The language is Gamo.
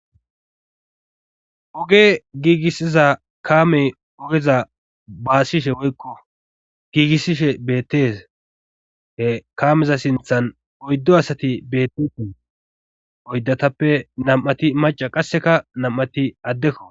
Oge giigissiza kaamey ogeza baasiishshe woykko giigissishe beettes he kaameza sinththan oyddu asati bettitin oyddatappe nam'ati maca qasseka nam'ati addekko